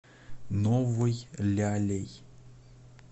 новой лялей